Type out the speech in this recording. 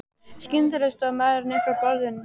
Skyndilega stóð maðurinn upp frá borðum.